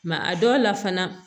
a dɔw la fana